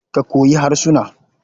Ka koyi harsuna.